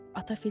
ata fil dedi.